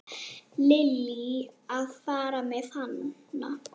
Lillý: Að fara með hana?